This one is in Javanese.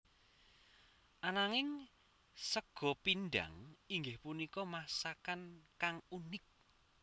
Ananging sega pindhang inggih punika masakan kang unik